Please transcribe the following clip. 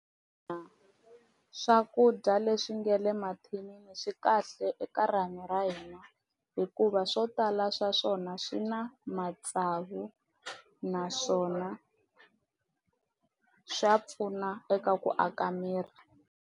Ina swakudya leswi nga le mathinini swi kahle eka rihanyo ra hina hikuva swo tala swa swona swi na matsavu naswona swa pfuna eka ku aka miri.